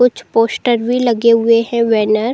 कुछ पोस्टर भी लगे हुए है बैनर --